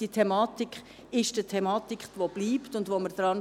Dies ist eine Thematik, die bleiben wird und an der wir arbeiten.